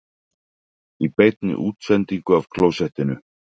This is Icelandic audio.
Í beinni útsendingu af klósettinu